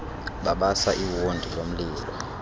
babasa iwondi lomlilo